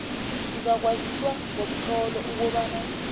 uzakwaziswa ngomtlolo ukobana